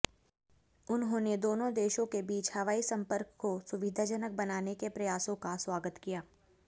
उन्होंने दोनों देशों के बीच हवाई संपर्क को सुविधाजनक बनाने के प्रयासों का स्वागत किया